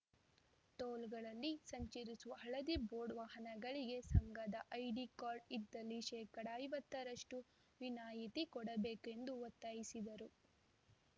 ಟೋಲ್‌ಗಳಲ್ಲಿ ಸಂಚರಿಸುವ ಹಳದಿ ಬೋರ್ಡ್‌ ವಾಹನಗಳಿಗೆ ಸಂಘದ ಐಡಿ ಕಾರ್ಡ್‌ ಇದ್ದಲ್ಲಿ ಶೇಕಡಾ ಐವತ್ತರಷ್ಟುವಿನಾಯಿತಿ ಕೊಡಬೇಕು ಎಂದು ಒತ್ತಾಯಿಸಿದರು